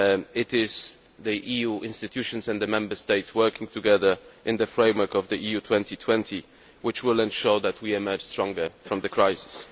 It is the EU institutions and the Member States working together in the framework of EU 2020 which will ensure that we emerge stronger from the crisis.